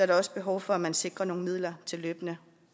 der også behov for at man sikrer nogle midler til løbende